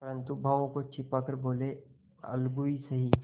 परंतु भावों को छिपा कर बोलेअलगू ही सही